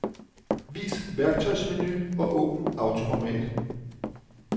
Vis værktøjsmenu og åbn autoformat.